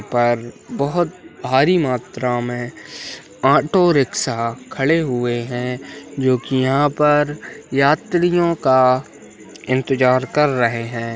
यहाँ पर बहोत भारी मात्रा मे ऑटो रिक्शा खड़े हुए हैं जो कि यहाँ पर यात्रियों का इंतजार कर रहे हैं।